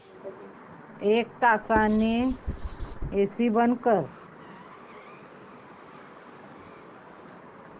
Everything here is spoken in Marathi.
एक तासाने एसी बंद कर